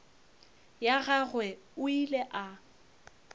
ya gagwe o ile a